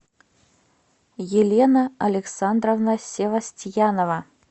елена александровна севостьянова